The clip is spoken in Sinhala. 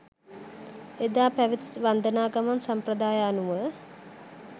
එදා පැවැති වන්දනා ගමන් සම්ප්‍රදාය අනුව